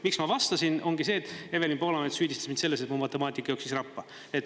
Miks ma vastasin, ongi see, et Evelin Poolamets süüdistas mind selles, et mu matemaatika jooksis rappa.